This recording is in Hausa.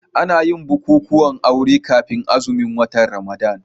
Ana yin bukukuwan aure kafin azumin watan Ramadana.